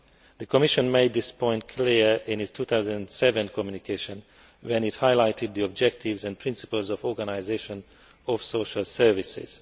The Commission made this point clear in its 2007 communication when it highlighted the objectives and principles of organisation of social services.